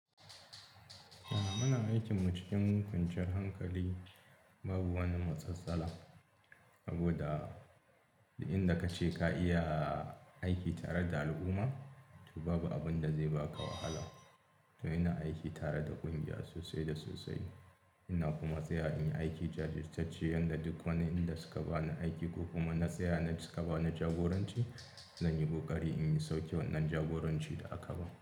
Ah muna aikinmu cikin kwanciyar hankali babu wani matsala. Saboda duk inda kace ka iya aiki tare da al'umma, to babu abin da zai baka wahala. To ina aiki tare da ƙungiya, sosai da sosai ina kuma tsayawa nayi aiki jajirtacce, yanda duk wani inda suka bani aiki, ko kuma na tsaya suka bani jagoranci zanyi ƙoƙari na sauke wannan jagorancin da aka bani.